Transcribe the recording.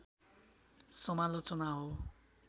समालोचना हो